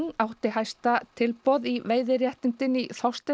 átti hæsta tilboð í veiðiréttindin í